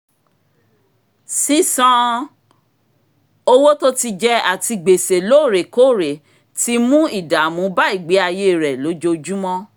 sísan owó tó ti jẹ àti gbèsè lóòrèkóòrè ti mú ìdàmú bá ìgbéayé rẹ̀ lójoojúmọ́